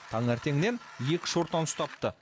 таңертеңнен екі шортан ұстапты